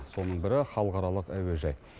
соның бірі халықаралық әуежай